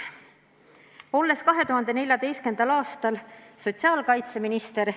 Olin 2014. aastal sotsiaalkaitseminister.